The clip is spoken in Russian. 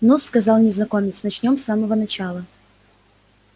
ну-с сказал незнакомец начнём с самого начала